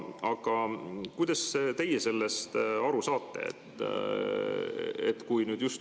Aga kuidas teie sellest aru saate?